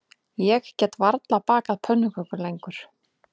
Ég get varla bakað pönnukökur lengur